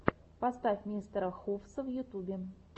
поставь мистера хувса в ютюбе